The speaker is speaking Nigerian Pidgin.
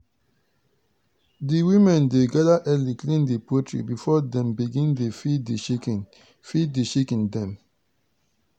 di women dey gather early clean di poultry before dem begin dey feed di chicken feed di chicken dem.